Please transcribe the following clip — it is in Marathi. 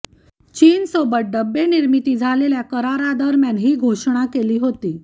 चीनसोबत डब्बे निर्मितीसाठी झालेल्या कारारादरम्यान ही घोषणा केली होती